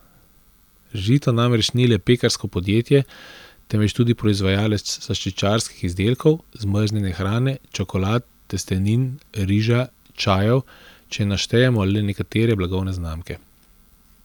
Žito namreč ni le pekarsko podjetje, temveč tudi proizvajalec slaščičarskih izdelkov, zmrznjene hrane, čokolad, testenin, riža, čajev, če naštejemo le nekatere blagovne znamke.